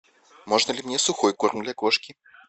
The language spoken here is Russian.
можно ли мне сухой корм для кошки